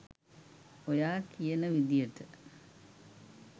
ඔයා කියන විදියට